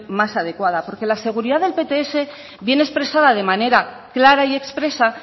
más adecuada porque la seguridad del pts viene expresada de manera clara y expresa